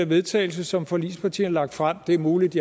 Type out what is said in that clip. vedtagelse som forligspartierne har lagt frem det er muligt